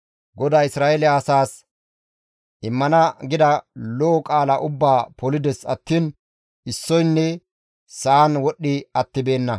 GODAY Isra7eele asaas immana gida lo7o qaala ubbaa polides attiin issoynne sa7an wodhdhi attibeenna.